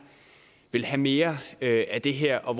vil have mere af det her og